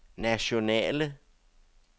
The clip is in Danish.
nationale